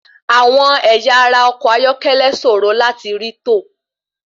Àwọn ẹ̀yà ara ọkọ̀ ayọ́kẹ́lẹ́ sòro láti rí to.